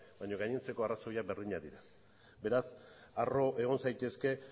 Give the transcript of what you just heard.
baina gainontzeko arrazoiak berdinak dira beraz harro egon zaitezke